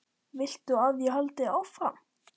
Viltu að ég haldi áfram?